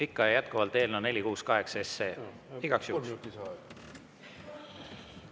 Ikka ja jätkuvalt igaks juhuks, et eelnõu 468.